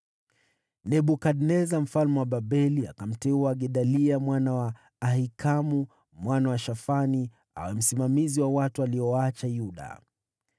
Nebukadneza mfalme wa Babeli akamteua Gedalia mwana wa Ahikamu, mwana wa Shafani, awe msimamizi wa watu aliowaacha Yuda.